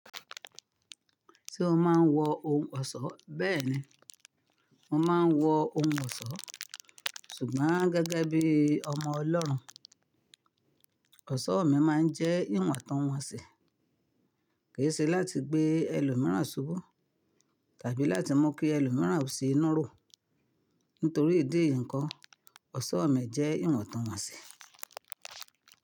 Tí ó máa ń wọ ohun ọ̀ṣọ́ bẹ́ẹ̀ni. Mo máa ń wọ ohun ọ̀ṣọ́, ṣùgbọ́n gẹ́gẹ́ bí ọmọ Ọlọ́run, ọ̀ṣọ́ mi máa ń jẹ́ ìwọ̀ntúnwọ̀nsì, kì í ṣe láti gbé ẹlòmíràn ṣubú tàbí láti mú kí ẹlòmíràn ó ṣe inú ro, nítorí ìdí nǹkan, ọ̀ṣọ́ ọ̀ mi jẹ́ ìwọ̀ntúnwọ̀nsì.